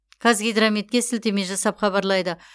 қазгидрометке сілтеме жасап хабарлайды